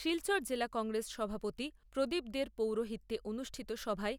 শিলচর জেলা কংগ্রেস সভাপতি প্রদীপ দের পৌরোহিত্যে অনুষ্ঠিত সভায়